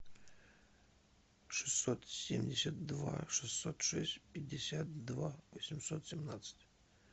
шестьсот семьдесят два шестьсот шесть пятьдесят два восемьсот семнадцать